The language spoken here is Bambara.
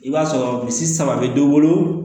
I b'a sɔrɔ misi saba be dɔ wolo